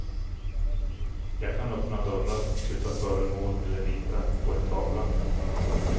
Jag kan öppna dörrar, flytta föremål eller rita på en tavla.